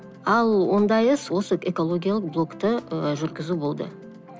ал ондай іс осы экологиялық блокты ы жүргізу болды